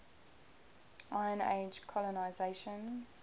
iron age colonisation